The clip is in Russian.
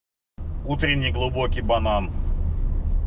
утренний глубокий банан